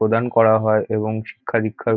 প্রদান করা হয় এবং শিক্ষা দীক্ষার--